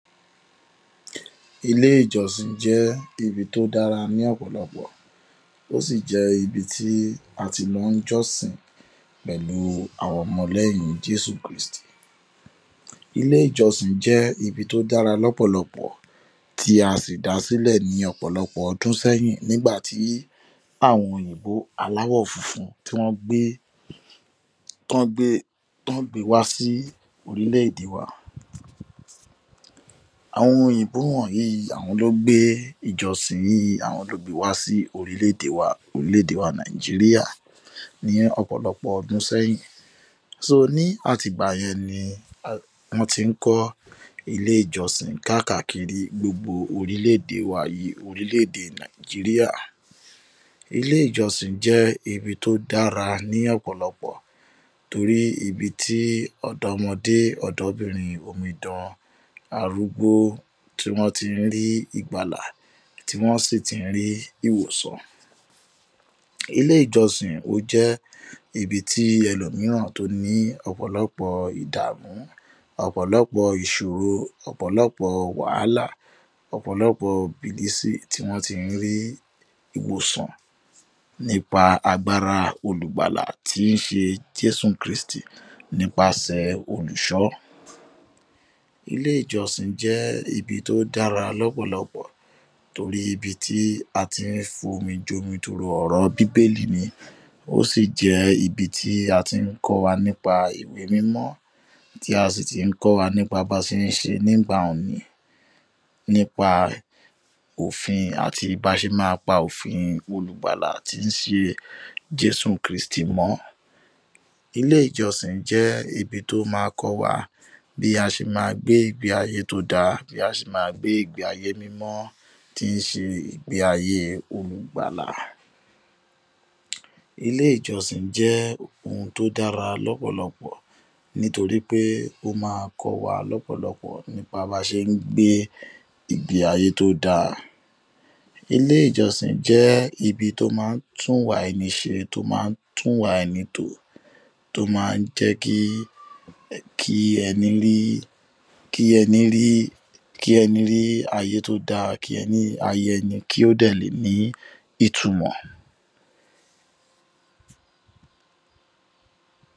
Ilé ìjòsìn je̩ ibi tó dára ní ò̩pò̩lo̩pò̩, ó sì jé̩ ibi tí a ti máa ń jó̩sìn pèlú àwa o̩mo̩ lé̩yìn Jésù Kristì. Ilé ìjo̩sìn je̩ ibi tó dára lò̩pò̩lo̩pò̩ tí a sì dásílè̩ ní ò̩pò̩lo̩pò̩ o̩dún sé̩yìn nígbà tí òyìnbó aláwò̩ funfun tí wó̩n gbé, t’ón gbé, t’ón gbe wá sí orimlè-èdè wa. Àwo̩n o̩mo̩ òyìnbó wò̩nyìí, àwo̩n ló gbé ìjo̩sìn yìí, àwo̩n ló gbe wá sí orílè̩-èdè wa Nàìjíríà ní ò̩pò̩lo̩pò̩ o̩dún sé̩yìn. So, ní àtìgbà ye̩n ni wó̩n ti ń kó̩ ilé ìjo̩sìn kákàkiri gbogbo orílè̩-èdè wa yíi, orílè̩-èdè Nàìjíríà. Ilé ìjòsìn je̩ ibi tó dára ní ò̩pò̩lo̩pò̩ torí ibi tí ò̩dó̩mo̩dé, ò̩dó̩bìnrin, omidan, arúgbó tí wo̩n ti ń rí ìgbàlà tí wó̩n sì ti ń rí ìwòsàn. Ilé ìjo̩sìn ó jé̩ ibi tí e̩lòmíràn tó ní ò̩pò̩ló̩pò̩ ìdàmú, ò̩pò̩ló̩pò̩ ìs̩òro, ò̩pò̩ló̩pò̩ wàhálà, ò̩pò̩ló̩pò̩ bìlísì tí wó̩n ti ń rí ìwòsàn nípa agbára Olùgbàlà tí ń s̩e Jésù Kristì nípasè̩ olùsó̩. Ilé ìjo̩sìn je̩ ibi tó dára lò̩pò̩lo̩pò̩ torí ibi tí a ti ń fomijomitoro ò̩rò̩ bíbélì ni. Ó sì jé̩ ibi tí a ti ń kó̩ wa nípa ìwé mímó̩ tí a sì ti ń kó̩ wa nípa bí a s̩e ń s̩e nígbà nípa ofin, àti báa s̩e máa pa ofin Olùgbàlà tí ń s̩e Jésù Kristi mó̩. Ilé ìjo̩sìn je̩ ibi tó máa kó̩ wa bí a s̩e máa gbé ìgbé ayé tó dáa, bí a s̩e máa gbé ìgbé ayé mímó̩ tí ń s̩e ìgbé ayé Olùgbàlà. Ilé ìjo̩sìn je̩ ohun tó dára ló̩pò̩lo̩pò̩ nítorí pé ó máa ko̩ wa ló̩pò̩lo̩pò̩ bá a bá s̩e ń gbé ìgbé ayé tó dára. Ilé ìjo̩sìn je̩ ibi tó máa ń tú ìwà eni s̩e, tó máa ń tú ìwà eni tò, tó máa jé̩ kí, kí, kí eni rí, kí eni rí, kí eni rí ayé tó dára, kí ayé eni kí ó dè lè ní ìtumò̩.